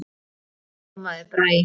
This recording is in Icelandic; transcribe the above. Þá ljómaði Bragi.